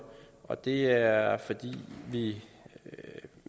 og det er fordi vi